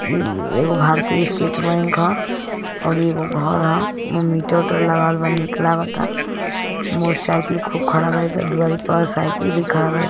EEE एगो भारतीय state bank ह और इ एगो घर ह ओमे मीटर विटर लगावल बा निक लागता मोटरसायकल खूब खड़ा बारी सन द्वारी पर सायकल भी खड़ा बारी --